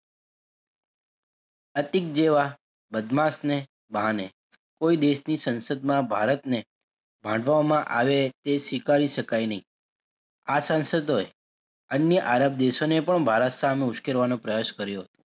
અયતિક જેવાં બદમાશને બહાને કોઈ દેશની સંસદમાં ભારતને ભાંડવામાં આવે તે સ્વીકારી શકાય નહીં આ સંસદોએ અન્ય આરબ દેશોને પણ ભારત સામે ઉસ્કેરવાનો પ્રયાસ કર્યો.